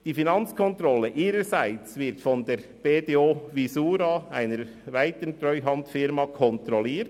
Die Finanzkontrolle ihrerseits wird von der BDO Visura, einer weiteren Treuhandfirma, kontrolliert.